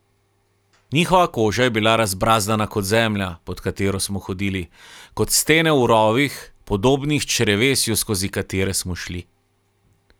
Njihova koža je bila razbrazdana kot zemlja, pod katero smo hodili, kot stene v rovih, podobnih črevesju, skozi katere smo šli.